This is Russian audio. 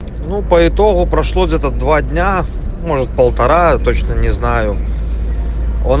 ну по итогу прошло где-то два дня может полтора точно не знаю он